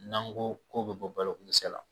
N'an ko ko bɛ bɔ balokodɛsɛ la